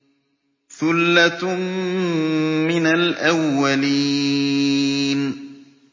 ثُلَّةٌ مِّنَ الْأَوَّلِينَ